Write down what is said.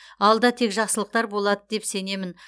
алда тек жақсылықтар болады деп сенемін